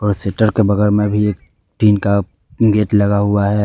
और शटर के बगल में भी एक टीन का गेट लगा हुआ है।